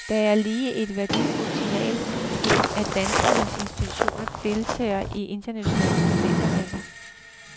Der kan ligge et værdifuldt signal i, at danske institutioner deltager i internationale studentermesser.